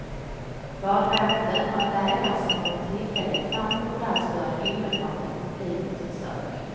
Badvakten och en läkare som av en tillfällighet fanns på plats började omedelbart med upplivningsförsök.